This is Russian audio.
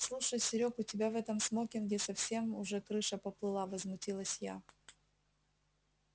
слушай серёг у тебя в этом смокинге совсем уже крыша поплыла возмутилась я